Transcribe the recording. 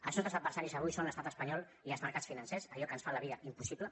els nostres adversaris avui són l’estat espanyol i els mercats financers allò que ens fa la vida impossible